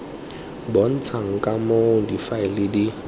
bontshang ka moo difaele di